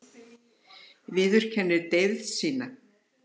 Viðurkennir deyfð sína.